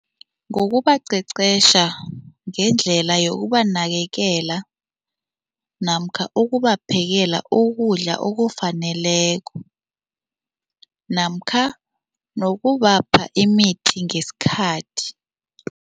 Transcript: Ngokubaqeqesha ngendlela yokubanakekela namkha ukubaphekela ukudla okufaneleko namkha nokubapha imithi ngesikhathi.